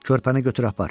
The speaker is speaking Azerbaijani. Körpəni götür apar.